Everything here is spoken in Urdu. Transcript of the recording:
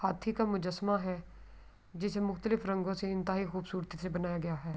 ہاتھ کا مجسمہ ہے۔ جسے مختلف رنگو سے انتہایی خوبصورتی سے بنایا گیا ہے۔